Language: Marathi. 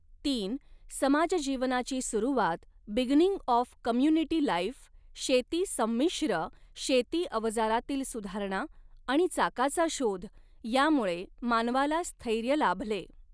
तीन समाजजीवनाची सुरवात बिगिनिंग ऑफ कम्युनिटी लाईफ शेती संमिश्र शेती अवजारातील सुधारणा आणि चाकाचा शोध यामुळे मानवाला स्थैर्य लाभले.